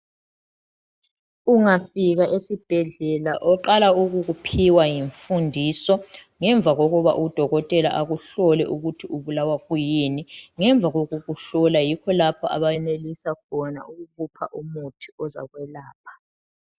Ungafika esibhedlela oqala ukukuphiwa yimfundiso ngemva kokuba udokotela akuhlole ukuthi ubulawa kuyini. Ngemva kokuhlola yikho lapha abenelisa khona ukukupha umuthi ozakwelapha.